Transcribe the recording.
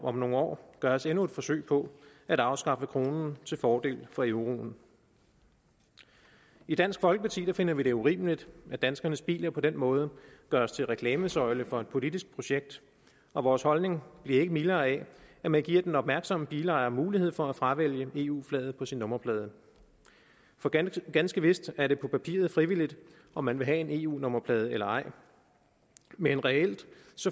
om nogle år gøres endnu et forsøg på at afskaffe kronen til fordel for euroen i dansk folkeparti finder vi det urimeligt at danskernes biler på den måde gøres til reklamesøjler for et politisk projekt og vores holdning bliver ikke mildere af at man giver den opmærksomme bilejer mulighed for at fravælge eu flaget på sin nummerplade for ganske ganske vist er det på papiret frivilligt om man vil have en eu nummerplade eller ej men reelt